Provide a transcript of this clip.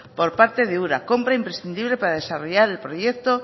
por parte de ura compra imprescindible para desarrollar el proyecto